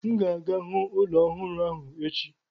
M ga-aga hụ ụlọ ọhụrụ ahụ echi.